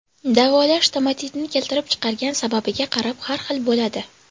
Davolash stomatitni keltirib chiqargan sababiga qarab har xil bo‘ladi.